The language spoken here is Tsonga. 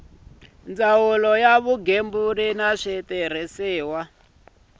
ya vugembuli na switirhiso ku